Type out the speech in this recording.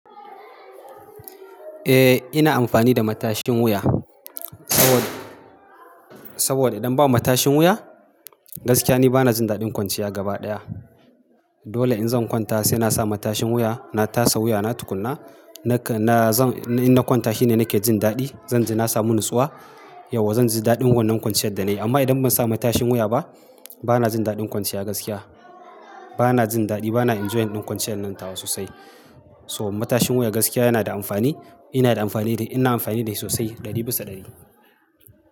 Eh ina amfani da matashin wuya so, saboda idan ba matashin wuya gaskiya ni bana jin daɗin kwanciya gaba ɗaya. Dole in zan kwanta sai na sa matashin wuya, na tasa wuya na tukunna. Nakan na in na kwanta shine nake jin daɗi. Zan ji na samu natsuwa yauwa zan ji daɗin wannan kwanciyar da na yi. Amma idan ban sa matashin wuya ba bana jin daɗin kwanciya gaskiya. Bana jin daɗi bana enjoying ɗin kwanciyar nan tawa sosai. So matashin wuya gaskiya yana da amfani. Ina da amfani da shi ina amfani da shi sosai ɗari bisa ɗari.